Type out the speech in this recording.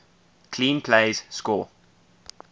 clean plays score